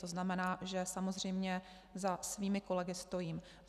To znamená, že samozřejmě za svými kolegy stojím.